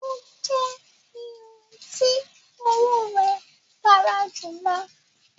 O jẹ irun ti owo rẹ gara julọ.